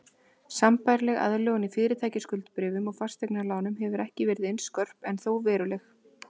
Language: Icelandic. Sambærileg aðlögun í fyrirtækjaskuldabréfum og fasteignalánum hefur ekki verið eins skörp en þó veruleg.